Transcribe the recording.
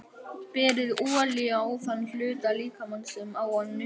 Berið olíu á þann hluta líkamans sem á að nudda.